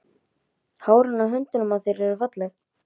Hárin á höndunum á þér eru falleg.